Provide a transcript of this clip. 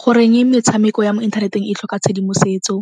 Goreng metshameko ya mo inthaneteng e tlhoka tshedimosetso?